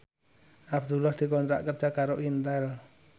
Abdullah dikontrak kerja karo Intel